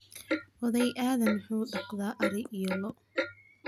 oday Aadan wuxuu daqda ari iyo loo